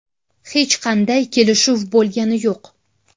Hech qanday kelishuv bo‘lgani yo‘q.